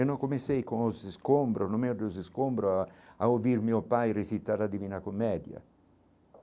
Eu não comecei com os escombros, no meio dos escombros, a a ouvir meu pai recitar a divina comédia.